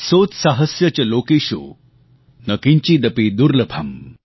सोत्साहस्य च लोकेषु न किंचिदपि दुर्लभम् ||